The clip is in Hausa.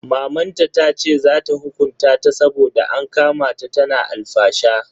Mamanta tace za ta hukunta ta saboda an kama ta tana alfasha.